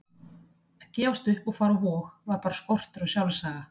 Að gefast upp og fara á Vog var bara skortur á sjálfsaga.